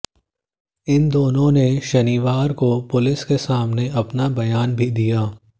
इन दोनों ने शनिवार को पुलिस के सामने अपना बयान भी दिया